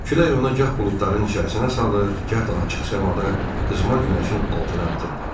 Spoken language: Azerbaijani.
Külək onu gah buludların içərisinə salır, gah da açıq səmada qızmar günəşin altına atırdı.